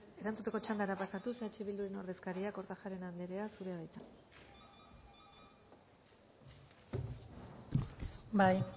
erantzuteko txandara pasatuz eh bilduren ordezkaria kortajarena anderea zurea da hitza bai